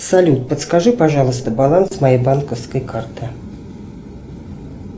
салют подскажи пожалуйста баланс моей банковской карты